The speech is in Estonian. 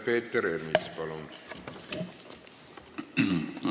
Peeter Ernits, palun!